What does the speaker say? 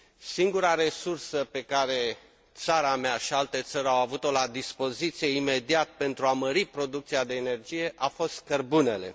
Singura resursă pe care țara mea și alte țări au avut o la dispoziție imediat, pentru a mări producția de energie, a fost cărbunele.